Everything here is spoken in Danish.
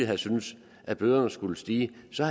havde syntes at bøderne skulle stige så